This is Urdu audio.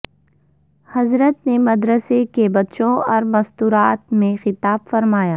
حضرت نے مدرسے کے بچوں اور مستورات میں خطاب فرمایا